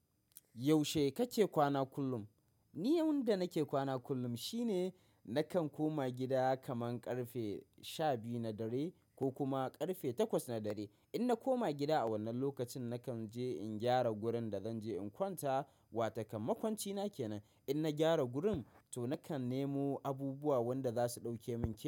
Yaushe kake kwana kullum? Ni yanda nake kwana kullum shine nakan koma gida kaman ƙarfe sha biyu na dare ko kuma ƙarfe takwas na dare. In na koma gida a wannan lokacin, nakan je in gyara gurin da zanje in kwanta. Wata kam makwancina kenan. In na gyara gurin to nakan nemo abubuwa wanda za su dauke min ke.